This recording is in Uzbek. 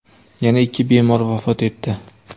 yana ikki bemor vafot etdi.